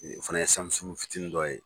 Ee o fɛnɛ ye samusungu fitini dɔ ye